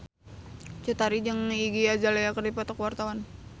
Cut Tari jeung Iggy Azalea keur dipoto ku wartawan